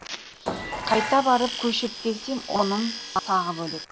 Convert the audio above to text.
қайта барып көшіріп келсем оным тағы бөлек